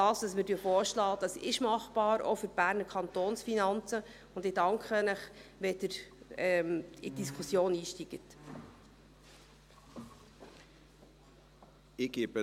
Das, was wir vorschlagen, ist machbar, auch für die Berner Kantonsfinanzen, und ich danke Ihnen, wenn Sie in die Diskussion einsteigen.